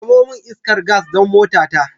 Samo min iskar gas don motata.